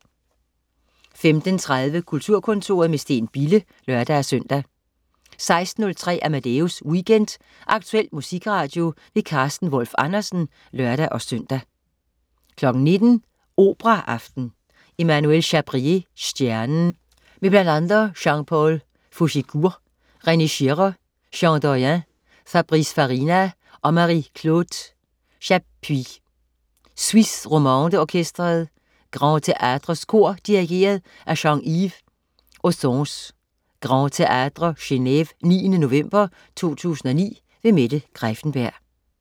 15.30 Kulturkontoret med Steen Bille (lør-søn) 16.03 Amadeus Weekend. Aktuel musikradio. Carsten Wolf Andersen (lør-søn) 19.00 Operaaften. Emmanuel Chabrier: Stjernen. Med bl.a. Jean-Paul Fouchécourt, René Schirrer, Jean Doyen, Fabrice Farina og Marie-Claude Chappuis. Suisse Romande Orkestret. Grand Théätres Kor. Dirigent: Jean-Yves Ossonce. (Grand Théätre, Geneve 9. november 2009). Mette Greiffenberg